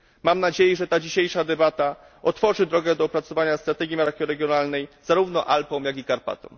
Mam nadzieję, że ta dzisiejsza debata otworzy drogę do opracowania strategii makroregionalnej zarówno dla Alp, jak i dla Karpat.